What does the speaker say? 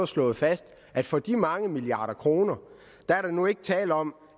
slået fast at for de mange milliarder kroner er der nu ikke længere tale om